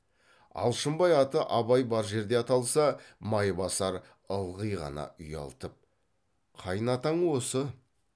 алшынбай аты абай бар жерде аталса майбасар ылғи ғана ұялтып қайынатаң осы